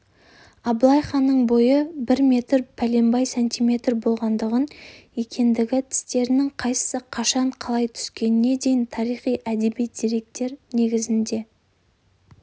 абылай ханның бойы бір метр пәленбай сантиметр болғандығын екіндегі тістерінің қайсысы қашан қалай түскеніне дейін таризи-әдеби деректер негізінде